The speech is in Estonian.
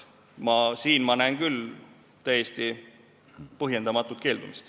Siin ma näen küll täiesti põhjendamatut keeldumist.